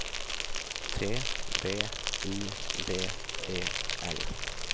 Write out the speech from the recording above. T V I V E L